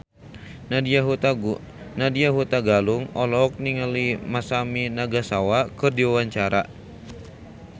Nadya Hutagalung olohok ningali Masami Nagasawa keur diwawancara